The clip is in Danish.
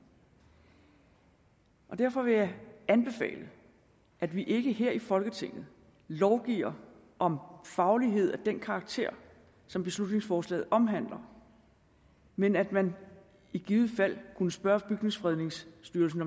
derfor vil jeg anbefale at vi ikke her i folketinget lovgiver om faglighed af den karakter som beslutningsforslaget omhandler men at man i givet fald kunne spørge bygningsfredningsstyrelsen